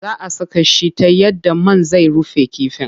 Zaa a saka shi ta yadda man zai rufe kifin.